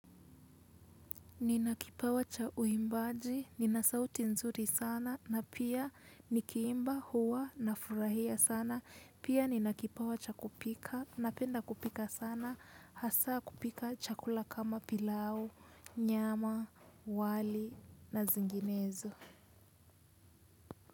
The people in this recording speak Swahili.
Nina kipawa cha uimbaji, nina sauti nzuri sana, na pia nikiimba huwa nafurahia sana, pia nina kipawa cha kupika, napenda kupika sana, hasaa kupika chakula kama pilau, nyama, wali na zinginezo.